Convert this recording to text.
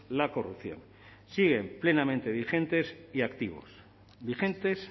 la corrupción siguen plenamente vigentes y activos vigentes